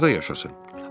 Bəs harda yaşasın?